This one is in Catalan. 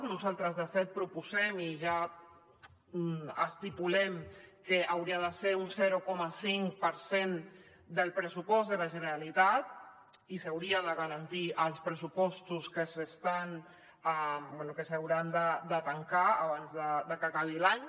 nosaltres de fet proposem i ja estipulem que hauria de ser un zero coma cinc per cent del pressupost de la generalitat i s’hauria de garantir als pressupostos que s’hauran de tancar abans de que acabi l’any